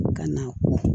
Ka na